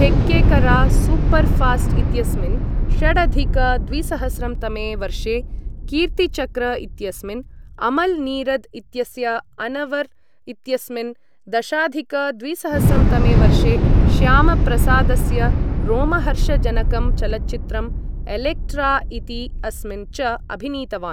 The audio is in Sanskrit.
थेक्केकरा सूपर् फ़ास्ट् इत्यस्मिन्, षडधिक द्विसहस्रं तमे वर्षे कीर्तिचक्र इत्यस्मिन्, अमल् नीरद् इत्यस्य अनवर् इत्यस्मिन्, दशाधिक द्विसहस्रं तमे वर्षे श्यामप्रसादस्य रोमहर्षजनकं चलच्चित्रम् एलेक्ट्रा इति अस्मिन् च अभिनीतवान्।